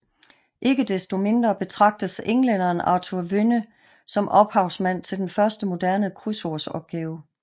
Ikke desto mindre betragtes englænderen Arthur Wynne som ophavsmand til den første moderne krydsordsopgave